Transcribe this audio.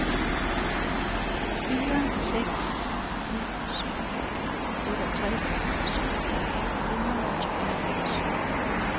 fire seks ni syv otteogtres syv hundrede og tooghalvfems